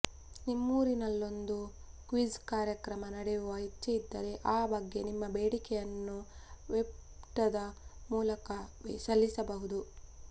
ನಿಮ್ಮೂರಿನಲ್ಲೊಂದು quiz ಕಾರ್ಯಕ್ರಮ ನಡೆಸುವ ಇಚ್ಛೆಯಿದ್ದರೆ ಆ ಬಗ್ಗೆ ನಿಮ್ಮ ಬೇಡಿಕೆಯನ್ನು ವೆಬ್ಪುಟದ ಮೂಲಕವೇ ಸಲ್ಲಿಸಬಹುದು